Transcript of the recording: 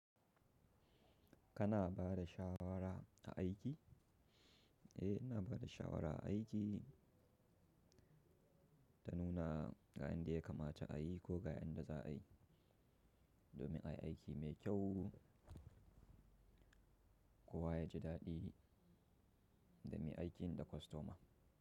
Kana bada shawara a aiki? Eh ina bada shawara a aiki, ta nuna ga inda ya kamata a yi ko ga inda za a yi, domin ayi aiki mai kyau. Kowa yaji daɗi, da me aikin da kostoma.